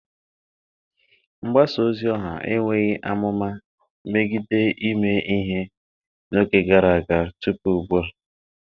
Mgbasa ozi ọha enweghị amụma megide ime ihe n'oge gara aga tupu ugbu a.